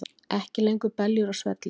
Ekki lengur beljur á svelli